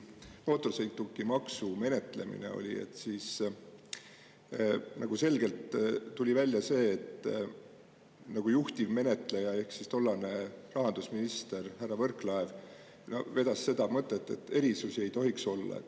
Mootorsõidukimaksu menetlemisel tuli selgelt välja see, et juhtivmenetleja ehk siis tollane rahandusminister härra Võrklaev veab seda mõtet, et erisusi ei tohiks olla.